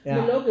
Ja